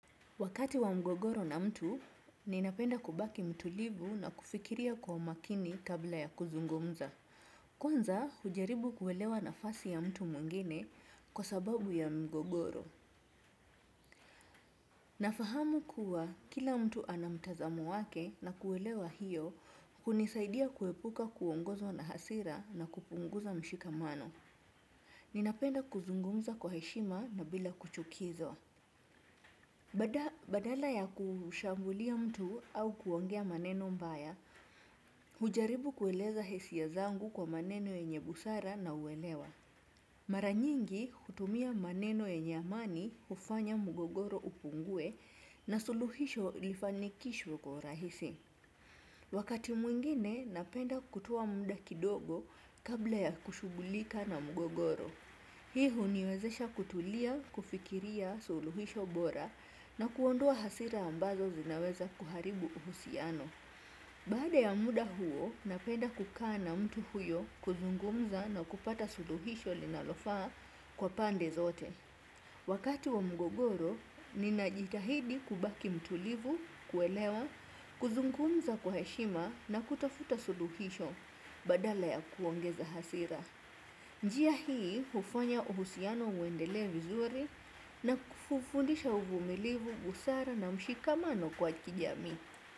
Wakati wa mgogoro na mtu, ninapenda kubaki mtulivu na kufikiria kwa makini tabla ya kuzungumza. Kwanza hujaribu kuelewa nafasi ya mtu muingine kwa sababu ya mgogoro. Nafahamu kuwa kila mtu anamtazamo wake na kuelewa hiyo kunisaidia kuepuka kuongozo na hasira na kupunguza mshikamano. Ninapenda kuzungumza kwa heshima na bila kuchukizo. Badala ya kushambulia mtu au kuwongea maneno mbaya, hujaribu kueleza hisiya zangu kwa maneno yenye busara na uwelewa. Maranyingi kutumia maneno yenye amani ufanya mugogoro upungue na suluhisho lifanikishwe kwa urahisi. Wakati mwingine napenda kutowa muda kidogo kabla ya kushugulika na mugogoro. Hii huniwezesha kutulia, kufikiria suluhisho bora na kuondoa hasira ambazo zinaweza kuharibu uhusiano. Bada ya muda huo, napenda kukana mtu huyo kuzungumza na kupata suluhisho linalofaa kwa pande zote. Wakati wa mgogoro, ninajitahidi kubaki mtulivu, kuelewa, kuzungumza kwa heshima na kutafuta suluhisho badala ya kuongeza hasira. Njia hii ufanya uhusiano uendele vizuri na kufufundisha uvumilivu busara na mshikamano kwa kijami.